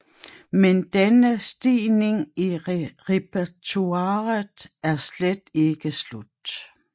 Men denne stigning i repertoiret er slet ikke slut